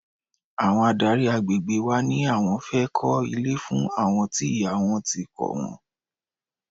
Àwọn adárí àgbègbè wa ní àwọn fẹ́ kó ilé fún àwọn tí ìyá wọn ti kọ wọ́n.